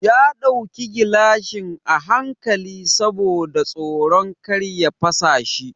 Ya ɗauki gilashin a hankali saboda tsoron kar ya fasa shi.